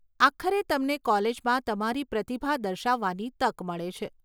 આખરે તમને કોલેજમાં તમારી પ્રતિભા દર્શાવવાની તક મળે છે.